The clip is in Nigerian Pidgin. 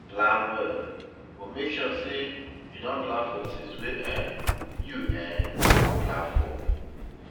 Plan well, but make sure sey you plan for things wey um you um no plan for